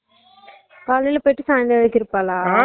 காலைல போயிட்டு சங்காலம்வரைக்கும் இருப்பால